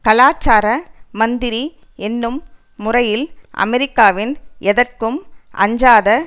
கலாச்சார மந்திரி என்னும் முறையில் அமெரிக்காவின் எதற்கும் அஞ்சாத